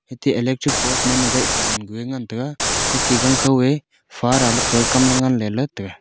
ethe electric pose post ma gai pah gan ku a ngan tega hee tigan khao eh faraley kamley le tega.